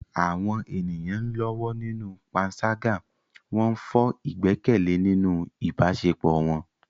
Àwọn ènìyàn ń lọ́wọ́ nínú panṣágà, wọ́n ń fọ́ ìgbẹ́kẹ̀lé nínú ìbáṣepọ̀ wọn.